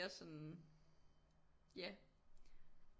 Sådan ja